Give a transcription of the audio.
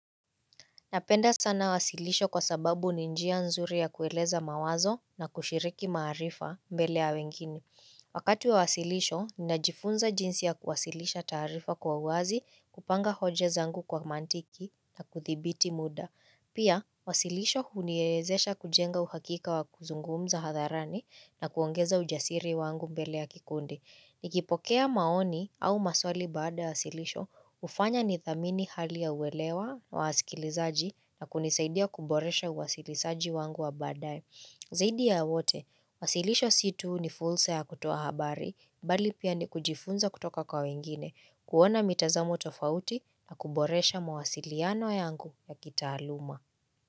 Napenda sana wasilisho kwa sababu ni njia nzuri ya kueleza mawazo na kushiriki maarifa mbele ya wengine. Wakati wa wasilisho, ninajifunza jinsi ya kuwasilisha taarifa kwa wazi kupanga hoja zangu kwa mantiki na kuthibiti muda. Pia, wasilisho huniezesha kujenga uhakika wa kuzungumza hadharani na kuongeza ujasiri wangu mbele ya kikundi. Nikipokea maoni au maswali baada ya wasilisho ufanya nithamini hali ya uwelewa wa wasikilizaji na kunisaidia kuboresha uwasilisaji wangu wa badae. Zaidi ya wote, wasilisho si tu ni fursa ya kutoa habari, bali pia ni kujifunza kutoka kwa wengine, kuona mitazamo tofauti na kuboresha mawasiliano yangu ya kitaaluma.